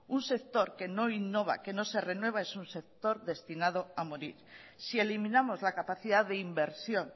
un sector que no innova que no se renueva es un sector destinado a morir si eliminamos la capacidad de inversión